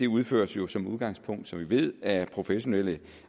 udføres jo som udgangspunkt som vi ved af professionelle